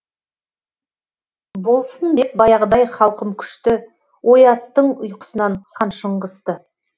болсын деп баяғыдай халқым күшті ояттың ұйқысынан хан шыңғысты